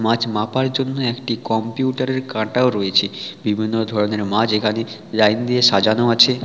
মাছ মাপার জন্য একটি কম্পিউটার কাটাও রয়েছে বিভিন্ন ধরনের মাছ এখানে লাইন দিয়ে সাজানো আছে--